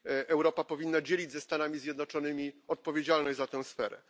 Europa powinna dzielić ze Stanami Zjednoczonymi odpowiedzialność za tę sferę.